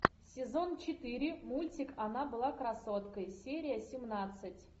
сезон четыре мультик она была красоткой серия семнадцать